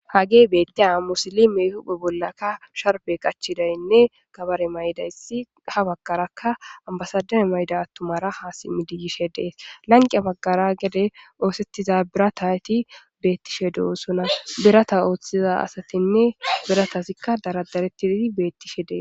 hagey bettiya musilime hupe bollaka sharbe qachidaynne kabare maydayssi ha baggaraka ambasadame mayda attumara ha simmi diigishe dees lanqiya baggara gede oosettiza birata hati beettishe du7osona birata ooththiza asatinne biratazikka daradarettidi beettishe dee